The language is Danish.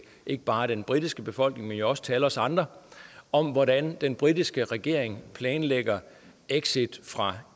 ikke bare den britiske befolkning men jo også til alle os andre om hvordan den britiske regering planlægger exit fra